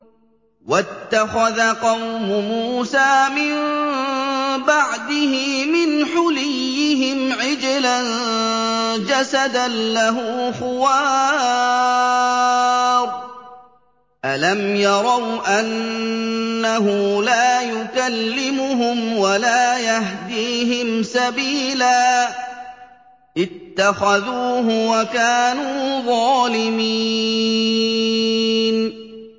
وَاتَّخَذَ قَوْمُ مُوسَىٰ مِن بَعْدِهِ مِنْ حُلِيِّهِمْ عِجْلًا جَسَدًا لَّهُ خُوَارٌ ۚ أَلَمْ يَرَوْا أَنَّهُ لَا يُكَلِّمُهُمْ وَلَا يَهْدِيهِمْ سَبِيلًا ۘ اتَّخَذُوهُ وَكَانُوا ظَالِمِينَ